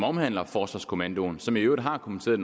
omhandler forsvarskommandoen som i øvrigt har kommenteret